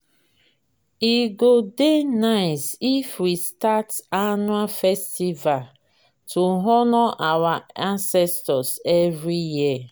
e go dey nice if we start annual festival to honor our ancestors every year.